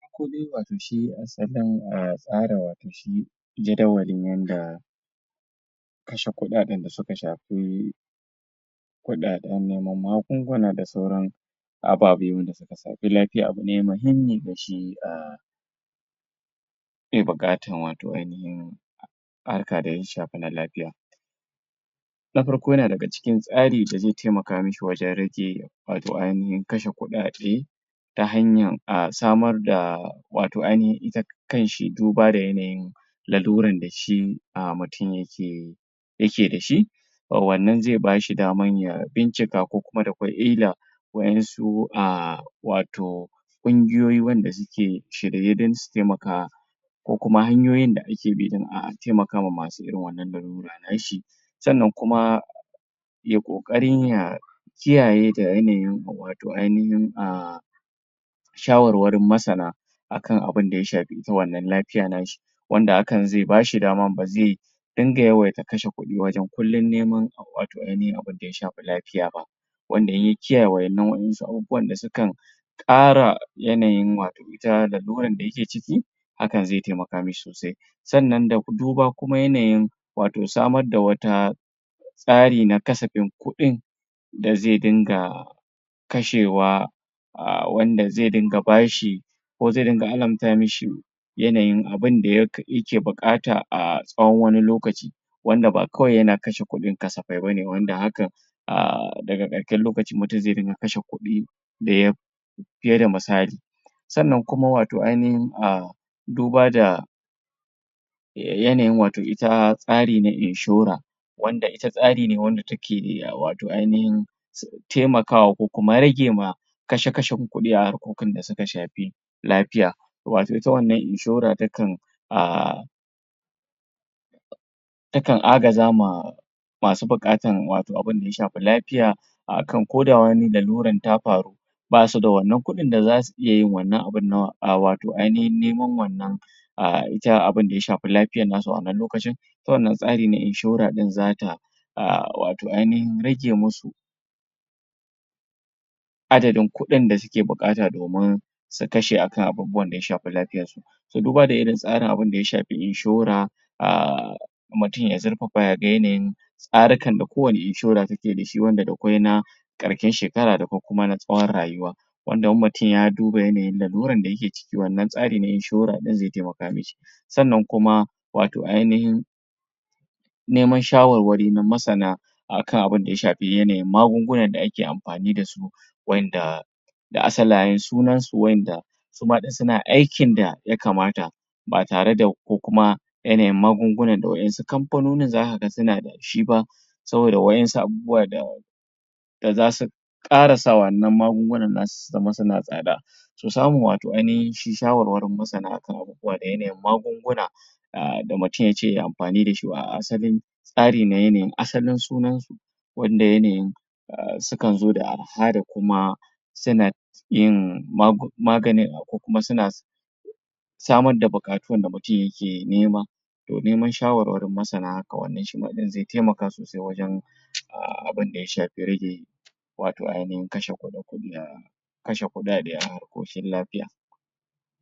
kuɗi wato shi a salin tsara wato shi jadawalin yanda kashe kuɗaɗen wanda suka shafi kuɗa ɗen neman magunguna da sauran ababe wanda suka shafi la na farko yana daga ci fiya abu ne muhimmi ga shi mai buƙa tan waton ainihin harka da ya shafi na lafiya na far ko na daga cikin tsari da zai taima ka mishi wajan rage wato ainihin kashe kuɗa ɗe ta hanyan a samar da wato ainihin ita kanshi duba da yanayin laluran da shi mu tun yake yake da shi wannan zai bashi daman ya bincika koko da waƴan su wa to ƙungiyoyi wanda suke ke shirye dan su taimaka ko kuma hanyoyi da a ke bi ɗin a taimaka wa masu irin wannan daruran nashi sanan kuma iya ƙoƙarin ya kiyaye tare da yin shawarwarin masana akan abin da ya shafi shi wannan la fiya ansu wanda akayi zai bashi dama bazai ɗinga yawaita kashe ƙuɗi wajan kullun neman wato yayi abin da ya shafi lafiya ba wanda in ya kiyaye waɗannan abubuwan da suka kara yanayin wato tar da tare da laluran dayake ciki hakan zai taimaka mishi sanan da ku duba kuma yanayim wato samad da wani ta tsari na kasafin kuɗin da zai dinga kashewa wanda zai dinga bashi ko zai dinga rannta mishi yanayin abin da ya, yake bu kata a tsawon wani lokaci wanda ba kowai yana kashe kasafai bane wanda hakan daga ƙar tun loaci mutun zai rinƙa kashe kuɗi da ya fiye da misali sanan kuma wa to ainihin duba da yanayin wato ita tsari na inshora wanda ita tsari ne wanda take iya wato ainihin taima kawa ko kuma rage ma kashe kashre kuɗi a ayyukka da suka shafi la fiya wato ita wannan inshora takan takan agaza ma masu bukatan wato abin da ya shafi lafi ya a hakan koda wan laluran ta faru basu da wanna kuɗin da zasu iya yin wannan abubuwa a wato ainihin neman wannan a ita abin da ya shafi lafiya nasu a lokacin wannan tsari na inshora ɗin zata a wato ainihin rage musu adadin kuɗdi da su ke bukata domin su kashe akan abubuwan daya shafi lafiyan su to duba da irin tsarin abun da ya shafi inshora mutun ya zurfafa ya ga yanayin tsarukan da kowani ishora take dashi wanda a kwai na karshen shekara da kuma na tsawon rayuwa wanda in mutun ya duba irin laluran dayake wannan tsari na inshora din zai taimaka a miki sanan kuma wato ainihin neman shawarwari na masana akan abun da ya shafi ga yanayin magungunan da ake ke anfani da su wanƴanda da asalayen sunan su wanƴanda ]?] suna aikin da yakamata ba tare da ko kum Y yanayin magungun da waƴansu kamfanonin zakaga suna da shiba saboda waƴansu abubuwa da da zasu ƙara sa waɗanan magungunan su zama suna tsada to samun wa to ainihin shi shawarwarin masana kan abubu wa na yanayin magunguna da mutun yake iya an fani da shi wa asalin tsari na yanayin asalin sunan wanda yanayin sukan zo da har da kuma suna yin magun magani ako kuma suna s samad da bukatu da mutun ya ke nama neman shawarwarin masana kan wannan shima din zat taimaka sosai wajan abun da ya shafi rage wato ainihin kashe kuɗaɗen a kashe kuɗaɗde a har koshin lafiya